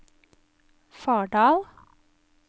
Fardal